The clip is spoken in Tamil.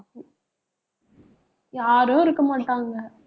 யாரும் இருக்கமாட்டாங்க